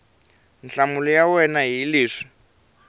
nhlamulo ya wena hi leswi